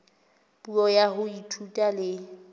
puo ya ho ithuta le